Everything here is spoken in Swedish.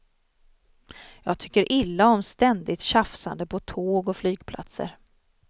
Jag tycker illa om ständigt tjafsande på tåg och flygplatser.